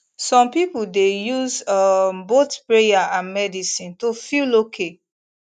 some people dey use um both prayer and medicine to feel okay